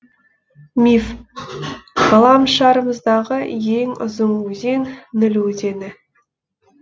миф ғаламшарымыздағы ең ұзын өзен ніл өзені